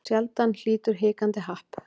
Sjaldan hlýtur hikandi happ.